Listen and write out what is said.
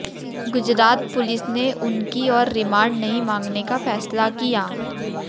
Gujarat police ने उनकी और रिमांड नहीं मांगने का फैसला किया